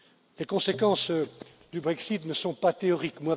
Les conséquences du Brexit ne sont pas théoriques.